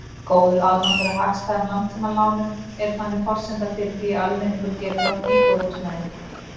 Góður aðgangur að hagstæðum langtímalánum er þannig forsenda fyrir því að almenningur geti átt íbúðarhúsnæði.